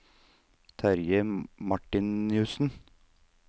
Terje Martinussen